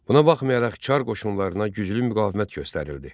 Buna baxmayaraq Çar qoşunlarına güclü müqavimət göstərildi.